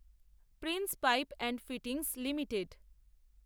Prince Pipes and Fittings limited